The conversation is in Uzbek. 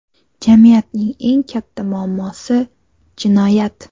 Jamiyatning eng katta muammosi – jinoyat.